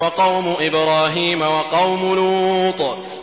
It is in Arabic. وَقَوْمُ إِبْرَاهِيمَ وَقَوْمُ لُوطٍ